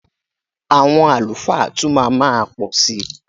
Àwọn àlùfáà tún má ma pọ̀ si.